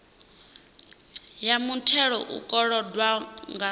ya muthelo u kolodwaho nga